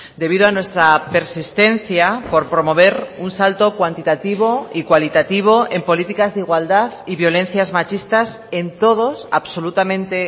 debido a nuestra persistencia por promover un salto cuantitativo y cualitativo en políticas de igualdad y violencias machistas en todos absolutamente